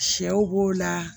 Sɛw b'o la